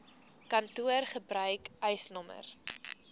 kantoor gebruik eisnr